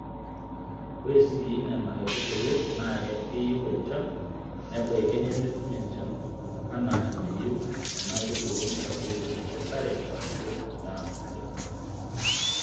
Ore sii Nena aitubulu naa keyieu enchan nebaiki nemetum enchan anaa enayieu Nena aitubu nitadoyio enkesare ashuu endaa oleng.